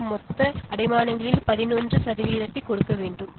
மொத்த அடைமானங்களில் பதினொன்று சதவிகிதத்தைக் கொடுக்க வேண்டும்